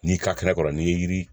N'i ka kɛnɛ kɔrɔ n'i ye yiri